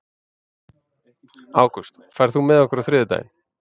Ágúst, ferð þú með okkur á þriðjudaginn?